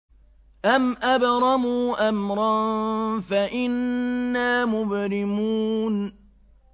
أَمْ أَبْرَمُوا أَمْرًا فَإِنَّا مُبْرِمُونَ